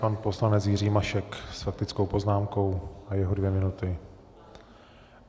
Pan poslanec Jiří Mašek s faktickou poznámkou a jeho dvě minuty.